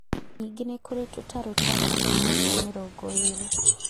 Ningĩ nĩ kũrĩ tũtarũ twa santimetero mĩrongo ĩrĩ